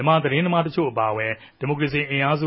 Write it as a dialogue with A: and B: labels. A: န်မာသတင်းသမားတေအြပၝအဝင် ူမန်မာဒီမိုကရေစီအင်အားစု